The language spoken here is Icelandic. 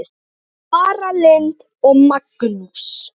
Tara Lynd og Magnús.